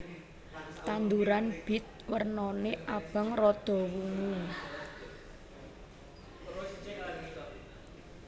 Tanduran bit wernané abang rada wungu